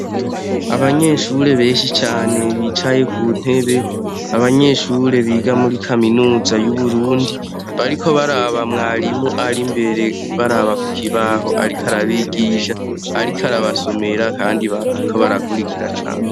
Abanyeshure beshi cane bicaye ku ntebe abanyeshure biga muri kaminuza y'uburundi bariko baraba mwarimu ari imbere baraba ku kibaho, ariko arabigija, ariko arabasomera, kandi bariko barakurikira cane.